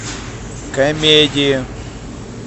комедии